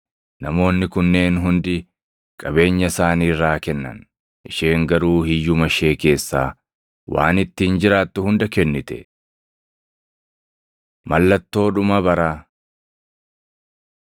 Namoonni kunneen hundi qabeenya isaanii irraa kennan; isheen garuu hiyyuma ishee keessaa waan ittiin jiraattu hunda kennite.” Mallattoo Dhuma Baraa 21:5‑36 kwf – Mat 24; Mar 13 21:12‑17 kwf – Mat 10:17‑22